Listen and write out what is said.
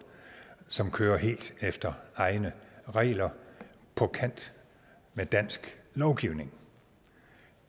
som kører helt efter egne regler på kant med dansk lovgivning